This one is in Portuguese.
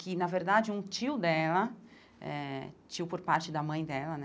Que, na verdade, um tio dela eh, tio por parte da mãe dela, né?